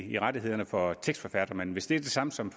i rettighederne for tekstforfattere men hvis de er de samme som